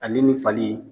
Ale ni nin fali